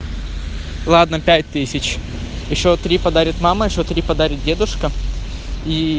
ладно пять тысяч ещё три подарит мама ещё три подарит дедушка